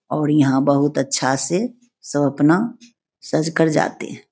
और यहाँ बहुत अच्छा से सब अपना सज कर जाते है।